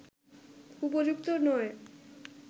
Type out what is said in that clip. উপযুক্ত নয়